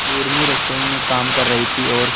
उर्मी रसोई में काम कर रही थी और